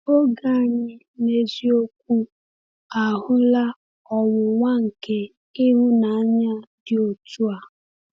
Oge anyị n’eziokwu ahụla ọnwụnwa nke ịhụnanya dị otu a.